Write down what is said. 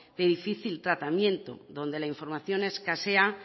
de difícil tratamiento donde la información escasea